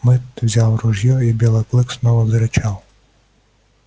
мэтт взял ружьё и белый клык снова зарычал